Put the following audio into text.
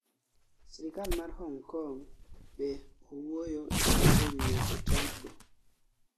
sirkal mar Hong Kong be owuoyo e wi weche Trump go